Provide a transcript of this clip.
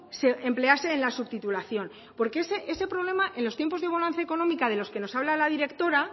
se emplease en la subtitulación porque ese problema en los tiempos de bonanza económica de los que nos habla la directora